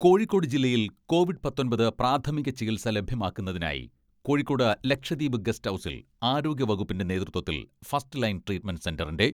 കോഴിക്കോട് ജില്ലയിൽ കോവിഡ് പത്തൊമ്പത് പ്രാഥമിക ചികിത്സ ലഭ്യമാക്കുന്നതിനായി കോഴിക്കോട് ലക്ഷദ്വീപ് ഗസ്റ്റ് ഹൗസിൽ ആരോഗ്യ വകുപ്പിന്റെ നേതൃത്വത്തിൽ ഫസ്റ്റ് ലൈൻ ട്രീറ്റ്മെന്റ് സെന്ററിന്റെ